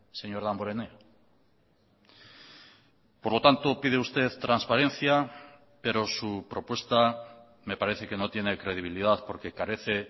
señor damborenea por lo tanto pide usted transparencia pero su propuesta me parece que no tiene credibilidad porque carece